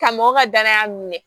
Ka mɔgɔ ka danaya minɛ